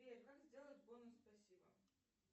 сбер как сделать бонус спасибо